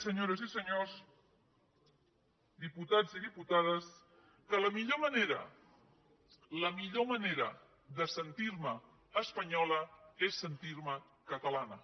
senyores i senyors diputats i diputades que la millor manera la millor manera de sentir me espanyola és sentir me catalana